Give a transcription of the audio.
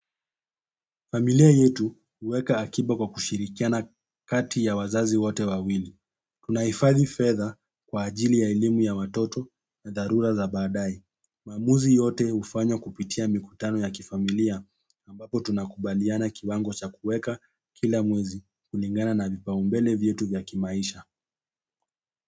Familia yetu huweka akiba kwa kushirikiana kati ya wazazi wote wawili. Tunahifathi fedha kwa ajili ya elimu ya watoto na dharura za baadae. Maamuzi yote hufanywa kupitia mikutano ya kifamilia ambapo tunakubaliana kiwango cha kuweka kila mwezi kulingana na vipaumbele vyetu vya kimaisha.